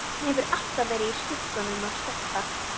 Hann hefur alltaf verið í skugganum af Stebba.